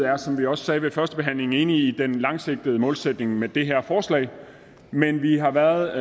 er som vi også sagde ved første behandling enig i den langsigtede målsætning med det her forslag men vi har været